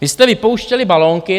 Vy jste vypouštěli balónky.